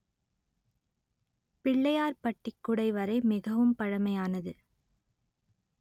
பிள்ளையார்பட்டிக் குடைவரை மிகவும் பழமையானது